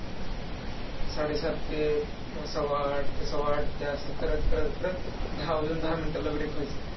साडे सात ते सव्वा आठ सव्वा आठ ते असं करत करत करत, दहा वाजून दहा minute ला break व्हायचा.